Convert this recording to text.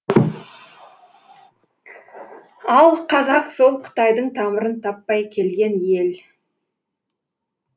ал қазақ сол қытайдың тамырын таппай келген ел